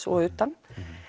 og utan